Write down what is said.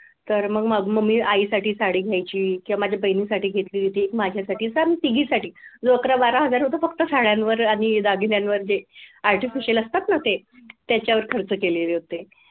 तर मग मी आईसाठी साडी घ्यायची किंवा माझ्या बहिणीसाठी एक घेतली होती एक माझ्यासाठी असं आम्ही तिघींसाठी जो अकरा बारा हजार होत फक्त साड्यांवर आणि दागिन्यांवर जे artificial असतात ना ते त्याच्यावर खर्च केलेले होते.